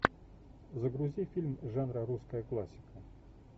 загрузи фильм жанра русская классика